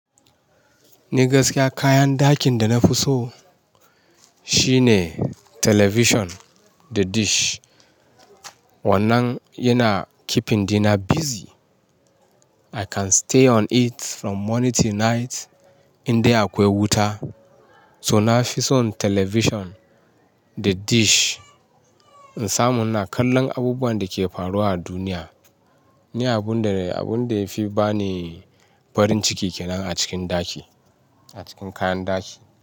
Ni gaskiya kayan dakin da na fi so shine television da dish. Wannan yana keeping dina busy. I can stay on it from morning til night in dai akwai wuta. So na fi son television da dish. In samu ina, kallon abubuwan da ke faruwa a duniya ne abun da, abun da ya fi ba ni farin ciki kenan a cikin daki, a cikin kayan daki.